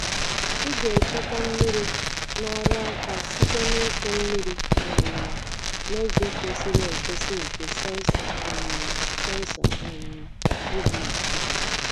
Ị ga-echekwa mmiri na ọrụ aka site n’ịkụ mmiri um n’oge kwesịrị ekwesị nke sensọ um sensọ um ubi na-achịkwa.